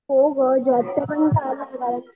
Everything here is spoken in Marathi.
हो गं जॉबचं पण